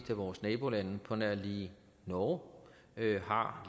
af vores nabolande på nær lige norge har